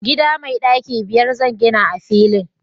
gida mai daki biyar zan gina a filin